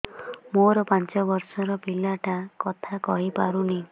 ମୋର ପାଞ୍ଚ ଵର୍ଷ ର ପିଲା ଟା କଥା କହି ପାରୁନି